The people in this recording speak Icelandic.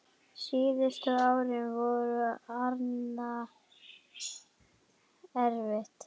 Síðustu árin voru Árna erfið.